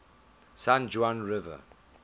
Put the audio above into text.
san juan river